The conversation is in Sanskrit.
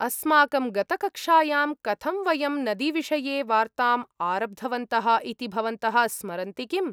अस्माकं गतकक्ष्यायां कथं वयं नदीविषये वार्ताम् आरब्धवन्तः इति भवन्तः स्मरन्ति किम्?